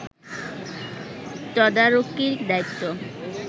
তদারকীর দায়িত্ব